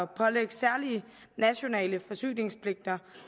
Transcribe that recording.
pålægge særlige nationale forsyningspligter